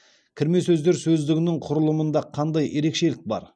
кірме сөздер сөздігінің құрылымында қандай ерекшелік бар